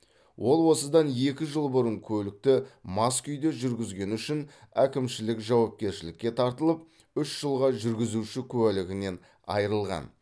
ол осыдан екі жыл бұрын көлікті мас күйде жүргізгені үшін әкімшілік жауапкершілікке тартылып үш жылға жүргізуші куәлігінен айырылған